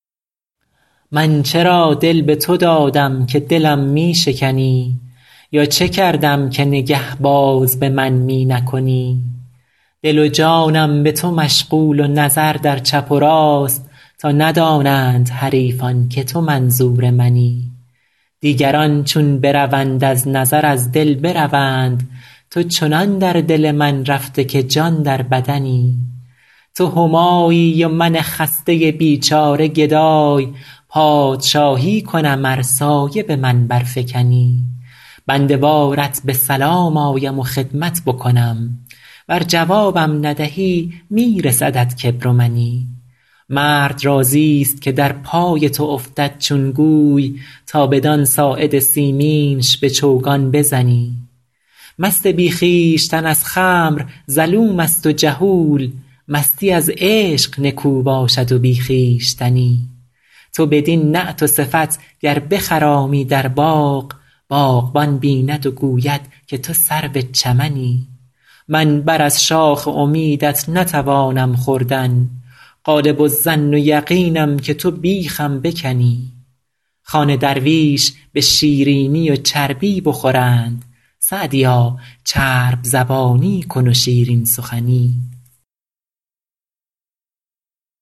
من چرا دل به تو دادم که دلم می شکنی یا چه کردم که نگه باز به من می نکنی دل و جانم به تو مشغول و نظر در چپ و راست تا ندانند حریفان که تو منظور منی دیگران چون بروند از نظر از دل بروند تو چنان در دل من رفته که جان در بدنی تو همایی و من خسته بیچاره گدای پادشاهی کنم ار سایه به من برفکنی بنده وارت به سلام آیم و خدمت بکنم ور جوابم ندهی می رسدت کبر و منی مرد راضیست که در پای تو افتد چون گوی تا بدان ساعد سیمینش به چوگان بزنی مست بی خویشتن از خمر ظلوم است و جهول مستی از عشق نکو باشد و بی خویشتنی تو بدین نعت و صفت گر بخرامی در باغ باغبان بیند و گوید که تو سرو چمنی من بر از شاخ امیدت نتوانم خوردن غالب الظن و یقینم که تو بیخم بکنی خوان درویش به شیرینی و چربی بخورند سعدیا چرب زبانی کن و شیرین سخنی